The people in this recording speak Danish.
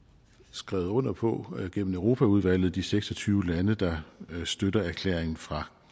skrevet under på gennem europaudvalget fra de seks og tyve lande der støtter erklæringen fra